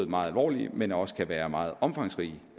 meget alvorlige men også kan være meget omfangsrige